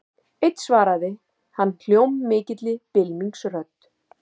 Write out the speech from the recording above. Einn svaraði hann hljómmikilli bylmingsrödd.